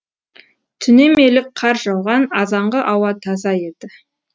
түнемелік қар жауған азанғы ауа таза еді